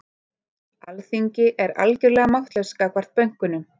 Alþingi er algjörlega máttlaust gagnvart bönkunum